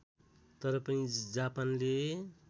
तर पनि जापानले